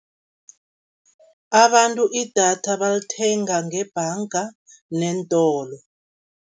Abantu idatha balithenga ngebhanga neentolo.